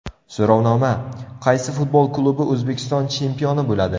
So‘rovnoma: Qaysi futbol klubi O‘zbekiston chempioni bo‘ladi?.